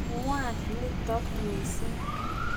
Ng'wan nitok missing'.